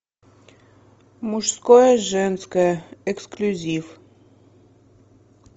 мужское женское эксклюзив